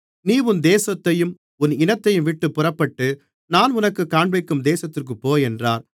நீ உன் தேசத்தையும் உன் இனத்தையும்விட்டுப் புறப்பட்டு நான் உனக்குக் காண்பிக்கும் தேசத்திற்குப் போ என்றார்